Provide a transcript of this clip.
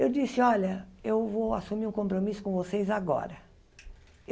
Eu disse, olha, eu vou assumir um compromisso com vocês agora.